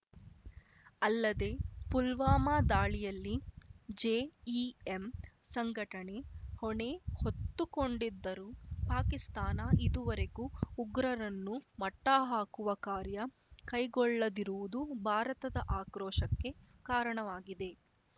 ಅಲ್ಲದೆ ಪುಲ್ವಾಮಾ ದಾಳಿಯಲ್ಲಿ ಜೆಇಎಂ ಸಂಘಟನೆ ಹೊಣೆ ಹೊತ್ತುಕೊಂಡಿದ್ದರೂ ಪಾಕಿಸ್ತಾನ ಇದುವರೆಗೂ ಉಗ್ರರನ್ನು ಮಟ್ಟಹಾಕುವ ಕಾರ್ಯ ಕೈಗೊಳ್ಳದಿರುವುದು ಭಾರತದ ಆಕ್ರೋಶಕ್ಕೆ ಕಾರಣವಾಗಿದೆ